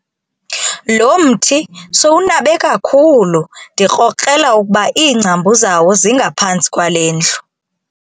Lo mthi sowunabe kakhulu ndikrokrela ukuba iingcambu zawo zingaphantsi kwale ndlu.